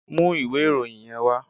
Mú ìwé ìròyìn yẹn wá!